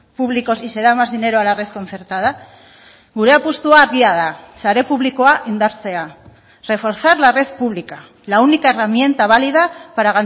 públicos y se da más dinero a la red concertada gure apustua argia da sare publikoa indartzea reforzar la red pública la única herramienta válida para